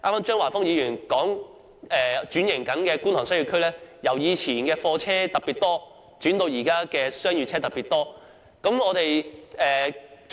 張華峰議員剛才說，轉型中的觀塘商貿區由以前的貨車特別多，轉為現時商業車特別多。